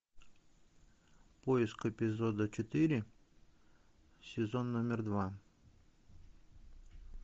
поиск эпизода четыре сезон номер два